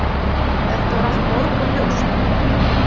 Þetta var allt morgunljóst.